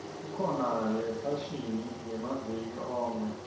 kukhona yefashini yamaviki onkhe